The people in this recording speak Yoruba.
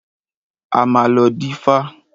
A máa lọ dífá.